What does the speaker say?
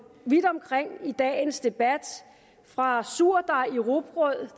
vidt omkring i dagens debat fra surdej i rugbrød